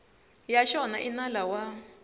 ya xona i nala wa